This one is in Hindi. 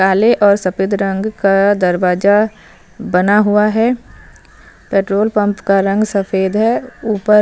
काले और सफ़ेद रंग का दरवाजा बना हुआ है पेट्रोल पम्प का रंग सफ़ेद है ऊपर --